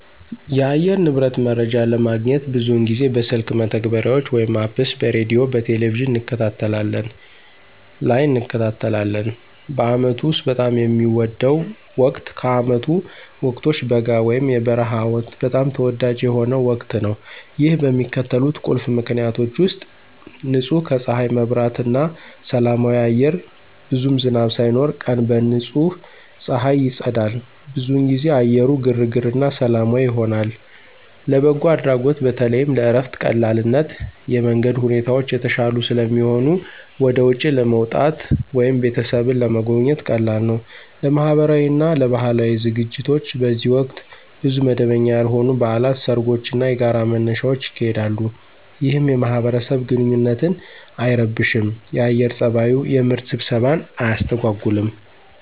የአየር ንብረት መረጃ ለማግኘት ብዙውን ጊዜ በስልክ መተግበሪያዎች (Apps) በሬዲዮ፣ በቴሊቪዥን እንከታተላለን ላይ እንከታተላለን። በአመቱ ውስጥ በጣም የሚወደው ወቅት ከዓመቱ ወቅቶች በጋ (የበረሃ ወቅት) በጣም ተወዳጅ የሆነው ወቅት ነው። ይህ በሚከተሉት ቁልፍ ምክንያቶች ውሰጥ · ንጹህ ከፀሐይ መብራት እና ሰላማዊ አየር ብዙም ዝናብ ሳይኖር፣ ቀን በንጹህ ፀሐይ ይጸዳል። ብዙውን ጊዜ አየሩ ግርግር እና ሰላማዊ ይሆናል። · ለበጎ አድራጎት በተለይም ለእረፍት ቀላልነት የመንገድ ሁኔታዎች የተሻሉ ስለሚሆኑ ወደ ውጪ ለመውጣት ወይም ቤተሰብን ለመጎብኘት ቀላል ነው። · ለማህበራዊ እና ለባህላዊ ዝግጅቶች በዚህ ወቅት ብዙ መደበኛ ያልሆኑ በዓላት፣ ሰርጎች እና የጋራ መነሻዎች ይካሄዳሉ፣ ይህም የማህበረሰብ ግንኙነትን አይረብሽም የአየር ፀባዩ። የምርት ስብሰባን አያስተጎጉልም።